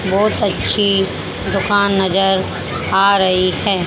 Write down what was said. बहुत अच्छी दुकान नजर आ रही है।